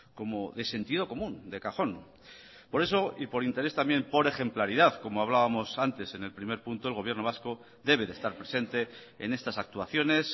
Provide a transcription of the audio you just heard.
como de sentido común de cajón por eso y por interés también por ejemplaridad como hablábamos antes en el primer punto el gobierno vasco debe de estar presente en estas actuaciones